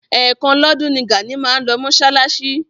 Ẹ̀ kan lọ́dún ni Gàní máa ń lọ mọ́ṣáláṣí.